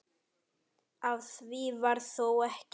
Af því varð þó ekki.